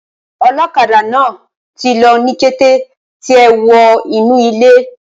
Olókadà náà tí lọ ní kété tí è wo inu ilé